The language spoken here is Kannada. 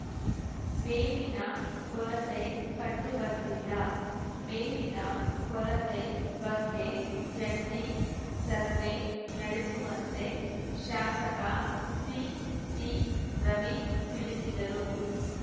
ಮೇವಿನ ಕೊರತೆ ಕಂಡುಬಂದಿಲ್ಲ ಮೇವಿನ ಕೊರತೆ ಬಗ್ಗೆ ಜಂಟಿ ಸರ್ವೇ ನಡೆಸುವಂತೆ ಶಾಸಕ ಸಿಟಿರವಿ ತಿಳಿಸಿದರು